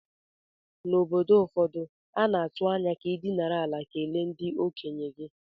N’obodo ụfọdụ, a na-atụ anya ka ị dinara ala kelee ndị okenye gị